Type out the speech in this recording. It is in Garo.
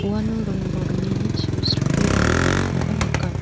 uano ring bolgnini chio sripe dongenganikoba nika.